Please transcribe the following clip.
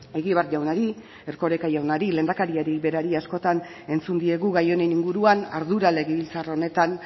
egibar jaunari erkoreka jaunari lehendakariari berari askotan entzun diegu gai honen inguruan ardura legebiltzar honetan